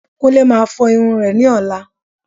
Kúnlé Máa fọ irun rẹ̀ ní ọ̀la